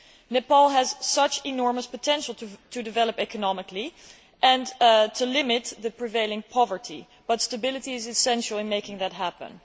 Nepal has such enormous potential to develop economically and to limit the prevailing poverty, but stability is essential in making that happen.